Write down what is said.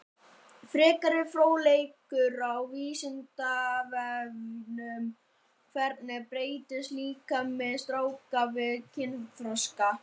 Frekari fróðleikur á Vísindavefnum: Hvernig breytist líkami stráka við kynþroska?